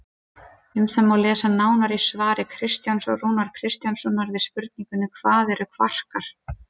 Um það má lesa nánar í svari Kristjáns Rúnars Kristjánssonar við spurningunni Hvað eru kvarkar?